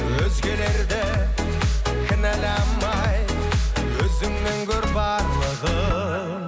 өзгелерді кінәламай өзіңнен көр барлығын